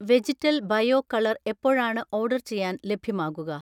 Vegetal bio colour എപ്പോഴാണ് order ചെയ്യാൻ ലഭ്യമാകുക?